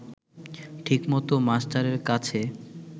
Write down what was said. ঠিকমত মাস্টারের কাছে